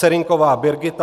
Serynková Brigita